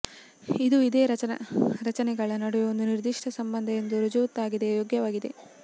ಇದು ಇದೇ ರಚನೆಗಳ ನಡುವಿನ ಒಂದು ನಿರ್ದಿಷ್ಟ ಸಂಬಂಧ ಎಂದು ರುಜುವಾತಾಗಿದೆ ಯೋಗ್ಯವಾಗಿದೆ